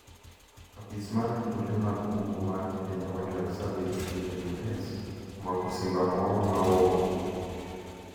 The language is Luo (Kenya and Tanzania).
Apis mar rito lee mag bungu mar Kenya Wildlife Service (KWS) omako simba moro ma ol